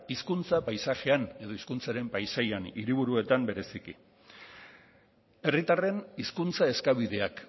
hizkuntza paisajean edo hizkuntzaren paisajean hiriburuetan batez ere herritarren hizkuntza eskabideak